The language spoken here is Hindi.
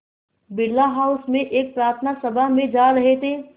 बिड़ला हाउस में एक प्रार्थना सभा में जा रहे थे